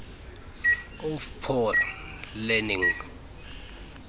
of prior learning